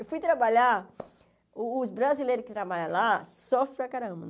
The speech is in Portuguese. Eu fui trabalhar, o os brasileiros que trabalham lá sofrem para caramba.